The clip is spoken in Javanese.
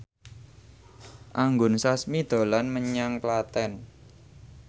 Anggun Sasmi dolan menyang Klaten